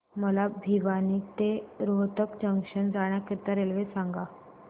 मला भिवानी ते रोहतक जंक्शन जाण्या करीता रेल्वे सांगा